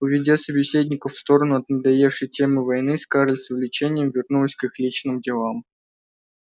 уведя собеседников в сторону от надоевшей темы войны скарлетт с увлечением вернулась к их личным делам